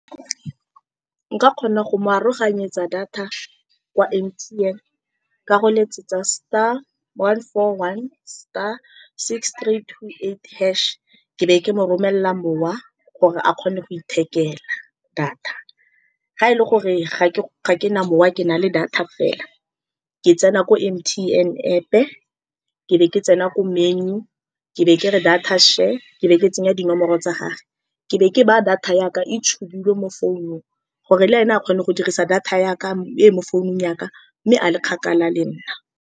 Nka kgona go mo aroganyetsa data kwa M_T_N, ka go letsetsa star one four one star six three two eight hash-e. Ke be ke mo romelela mowa gore a kgone go ithekela data. Fa e le gore ga ke, ga kena mowa kena le data fela, ke tsena ko M_T_N App, ke be ke tsena ko menu, ke be ke re data share, ke be ke tsenya dinomoro tsa gage, ke be ke baya data ya ka e tshubilwe mo founung gore le ene a kgone go dirisa data ya ka e e mo founung ya ka mme a le kgakala le nna.